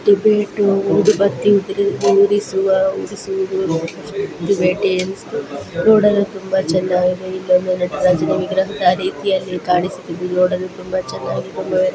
ಟಿಬೇಟು ಊದುಬತ್ತಿ ಉರಿಸುತ್ತಿರುವ ಟಿಬೆಟಿಯನ್ಸ್ ನೋಡಲು ತುಂಬಾ ಚೆನ್ನಾಗಿದೆ ಇಲ್ಲಿಒಂದು ನಟರಾಜನ್ ವಿಗ್ರಹ ರೀತಿಯಲಿ ಕಾಣಿಸುತ್ತದೆ ನೋಡಲು ತುಂಬಾ ಚೆನ್ನಾಗಿದೆ --